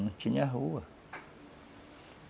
Não tinha rua.